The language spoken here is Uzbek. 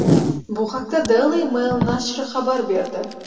Bu haqda Daily Mail nashri xabar berdi .